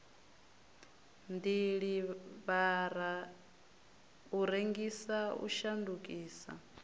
diḽivara u rengisa u shandukisa